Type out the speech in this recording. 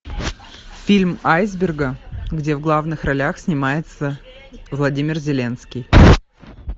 фильм айсберга где в главных ролях снимается владимир зеленский